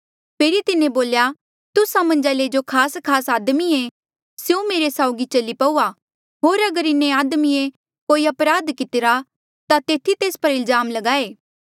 फेरी तिन्हें बोल्या तुस्सा मन्झा ले जो खासखास आदमिये स्यों मेरे साउगी चली पऊआ होर अगर इन्हें आदमिये कोई अपराध कितिरा ता तेथी तेस पर इल्जाम लगाए